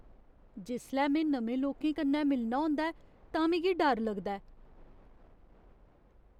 जिसलै में नमें लोकें कन्नै मिलना होंदा ऐ तां मिगी डर लगदा ऐ।